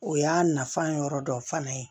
O y'a nafan yɔrɔ dɔ fana ye